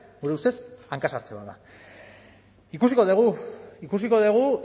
gure ustez hanka sartze bat da ikusiko dugu ikusiko dugu